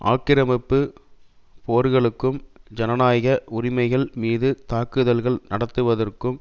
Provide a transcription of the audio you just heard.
ஆக்கிரமிப்பு போர்களுக்கும் ஜனநாயக உரிமைகள் மீது தாக்குதல்கள் நடத்துவதற்கும்